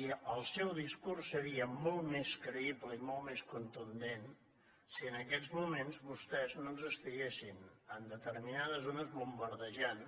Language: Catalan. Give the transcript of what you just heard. i el seu discurs seria molt més creïble i molt més contundent si en aquests moments vostès no ens estiguessin en determinades zones bombardejant